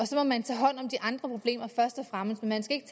så må man tage hånd om de andre problemer først og fremmest man skal ikke